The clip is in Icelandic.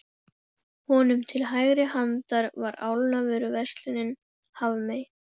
Honum til hægri handar var álnavöruverslunin Hafmey.